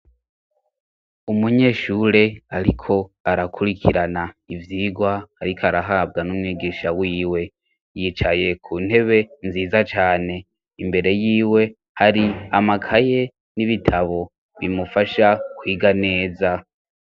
Umunyeshure ariko arakurikirana ivyigwa ariko arahabwa n'umwigisha wiwe yicaye ku ntebe nziza cane imbere yiwe hari amakaye n'ibitabo bimufasha kwiga neza.